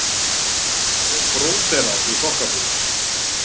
Og bróderað í þokkabót.